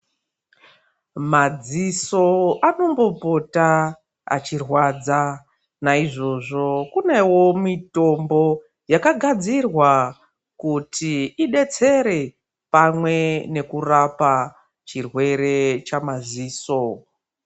Madziso anombopota achirwadza naizvozvo kune womitombo yakagadzirirwa kuti idetsere pamwe nekurapa chirwere chamadziso.